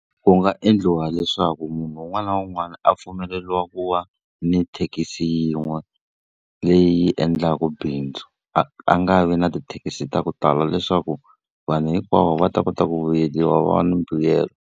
Ku nga endliwa leswaku munhu un'wana na un'wana a pfumeleriwa ku wa ni thekisi yin'we, leyi endlaku bindzu. A a nga vi na tithekisi ta ku tala leswaku vanhu hinkwavo va ta kota ku vuyeriwa va na mbuyelo.